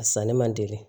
A sanni man teli